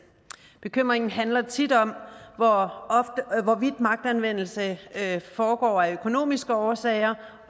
bekymringen handler tit om hvorvidt magtanvendelse foregår af økonomiske årsager